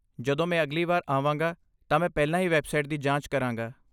ਜਦੋਂ ਮੈਂ ਅਗਲੀ ਵਾਰ ਆਵਾਂਗਾ ਤਾਂ ਮੈਂ ਪਹਿਲਾਂ ਹੀ ਵੈਬਸਾਈਟ ਦੀ ਜਾਂਚ ਕਰਾਂਗਾ।